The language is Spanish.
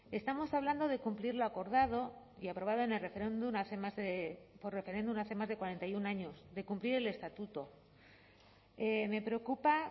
estamos hablando de cumplir lo acordado y aprobado en el referéndum hace más de por referéndum hace más de cuarenta y uno años de cumplir el estatuto me preocupa